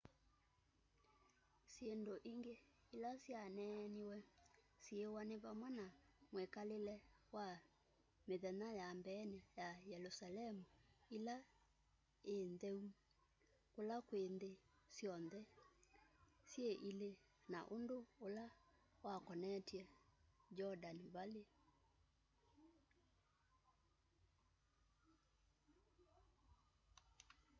syindu ingi ila syaneneewe syiwa ni vamwe na mwikalile wa mthenya ya mbeeni ya yelusalemu ila ii ntheu kulakwi nthi syonthe syi ili na undu ula wakonetye jordan valley